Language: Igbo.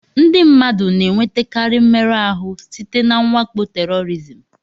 Ndị mmadụ na-enwetakarị mmerụ ahụ site na mwakpo tèrọrizim